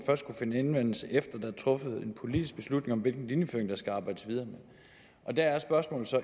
finde anvendelse efter der er truffet en politisk beslutning om hvilken linjeføring der skal arbejdes videre med og der er spørgsmålet så